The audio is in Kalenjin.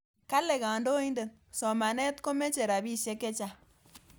Kale kandoindet, somaneet komeche rabisiek chechang'